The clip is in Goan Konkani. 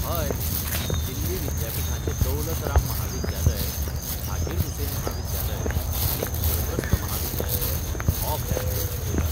हय, दिल्ली विद्यापीठाचें दौलत राम म्हाविद्यालय, झाकीर हुसैन म्हाविद्यालय आनी इन्द्रपस्थ म्हाविद्यालय हो अभ्यासक्रम शिकयतात.